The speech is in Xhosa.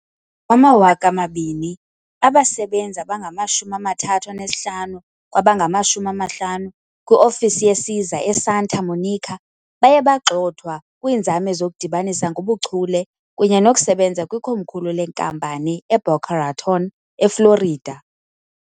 Ngowama-2000, abasebenzi abangama-35 kwabangama-50 kwiofisi yesiza eSanta Monica baye bagxothwa kwiinzame zokudibanisa ngobuchule kunye nokusebenza kwikomkhulu lenkampani eBoca Raton, eFlorida.